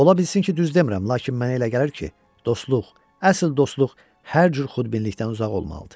Ola bilsin ki, düz demirəm, lakin mənə elə gəlir ki, dostluq, əsl dostluq hər cür xudbinlikdən uzaq olmalıdır.